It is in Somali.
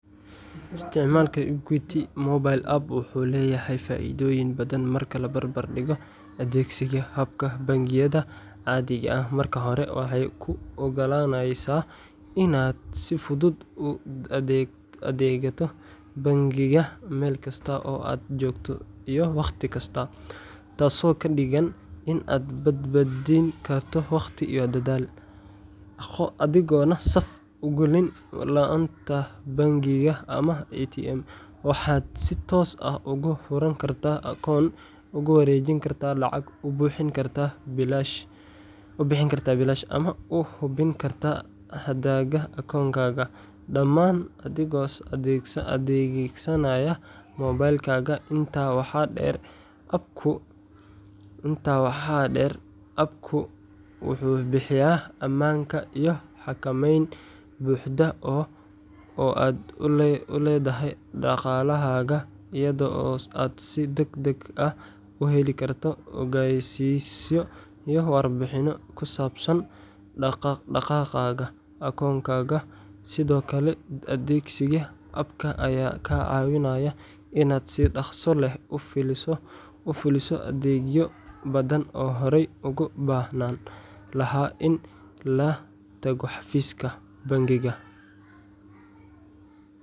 Isticmaalka Equity mobile app wuxuu leeyahay faa’iidooyin badan marka la barbardhigo adeegsiga hababka bangiyada caadiga ah. Marka hore, waxay kuu oggolaaneysaa inaad si fudud uga adeegato bangiga meel kasta oo aad joogto iyo wakhti kasta, taasoo ka dhigan in aad badbaadin karto waqti iyo dadaal, adigoon saf ugu gelin laanta bangiga ama ATMka. Waxaad si toos ah uga furan kartaa akoon, uga wareejin kartaa lacag, u bixin kartaa biilasha, ama u hubin kartaa hadhaaga akoonkaaga, dhammaan adigoo adeegsanaya moobilkaaga. Intaa waxaa dheer, app-ku wuxuu bixiyaa ammaanka iyo xakameyn buuxda oo aad u leedahay dhaqaalahaaga, iyadoo aad si degdeg ah u heli karto ogeysiisyo iyo warbixinno ku saabsan dhaq-dhaqaaqa akoonkaaga. Sidoo kale, adeegsiga app-ka ayaa kaa caawinaya in aad si dhaqso leh u fuliso adeegyo badan oo horey ugu baahnaan lahaa in la tago xafiiska bangiga.